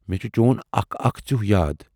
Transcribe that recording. مے چھُ چون اَکھ اَکھ ژیوٗہ یاد۔